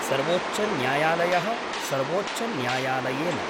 सर्वोच्चन्यायालय: सर्वोच्चन्यायालयेन